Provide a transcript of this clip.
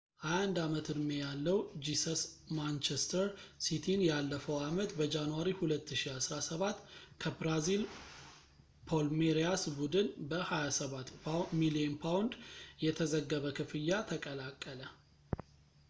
21-አመት-ዕድሜ ያለው ጂሰስ ማንቸስተር ሲቲን ያለፈው አመት በጃንዋሪ 2017 ከብራዚል ፓልሜሪያስ ቡድን በ £27 ሚሊየን የተዘገበ ክፍያ ተቀላቀለ